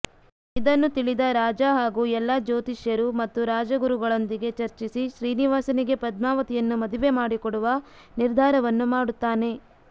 ಇದನ್ನು ತಿಳಿದ ರಾಜಾ ಹಾಗೂ ಎಲ್ಲಾ ಜ್ಯೋತಿಷ್ಯರು ಮತ್ತು ರಾಜಗುರುಗಳೊಂದಿಗೆ ಚರ್ಚಿಸಿ ಶ್ರೀನಿವಾಸನಿಗೆ ಪದ್ಮಾವತಿಯನ್ನು ಮದುವೆ ಮಾಡಿಕೊಡುವ ನಿರ್ಧಾರವನ್ನು ಮಾಡುತ್ತಾನೆ